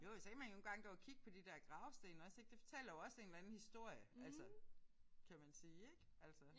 Jo og så kan man nogle gange gå og kigge på de der gravsten også ik. Det fortæller jo også en eller anden historie altså kan man sige ik altså